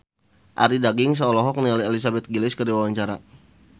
Arie Daginks olohok ningali Elizabeth Gillies keur diwawancara